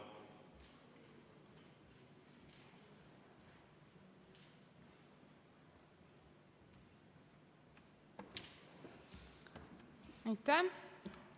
Aitäh!